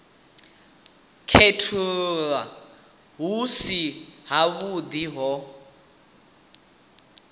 khethululwa hu si havhuḓi ho